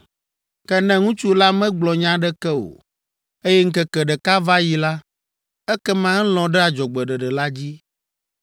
Ke ne ŋutsu la megblɔ nya aɖeke o, eye ŋkeke ɖeka va yi la, ekema elɔ̃ ɖe adzɔgbeɖeɖe la dzi.